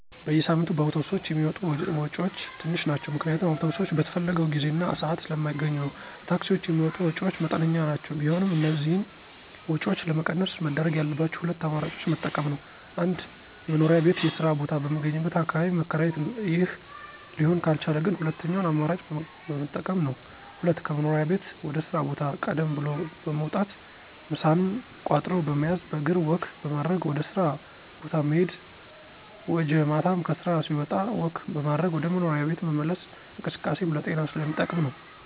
በየሳምንቱ በአውቶብሶች የሚወጡ ወጭወች ትንሽ ናቸው ምክንያቱም አውቶብሶች በተፈለገው ጊዜ እና ስአት ስለማገኙ ነዉ። ለታክሲወች የሚወጡ ወጭወች መጠነኛ ናቸው ቢሆንም እነዚህን ወጭወች ለመቀነስ መደረግ ያለባቸው ሁለት አማራጮችን መጠቀም ነወ። 1-መኖሪያ ቤት የስራ ቦታ በሚገኝበት አካባቢ መከራየት ይህ ሊሆን ካልቻለ ግን ሁለተኛውን አማራጭ መጠቀም ነው። 2-ከመኖሪያ ቤት ወደ ስራ ቦታ ቀደም ብሎ በመውጣት ምሳንም ቋጥሮ በመያዝ በእግር ወክ በማድረግ ወደ ስራ ቦታ መሄድ ወጀ ማታም ከስራ ሲወጣ ወክ በማድረግ ወደ መኖሪያ ቤት መመለስ እንቅስቃሴም ለጤና ስለሚጠቅም ነው።